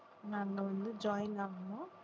நாங்க வந்து join ஆகணும்